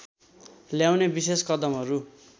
ल्याउने विशेष कदमहरू